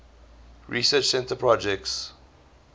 research center projects